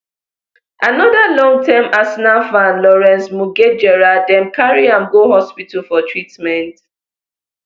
anoda longterm arsenal fan lawrence mugejera dem carry am go hospital for treatment